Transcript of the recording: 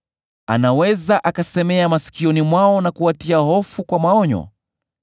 anaweza akasemea masikioni mwao, na kuwatia hofu kwa maonyo,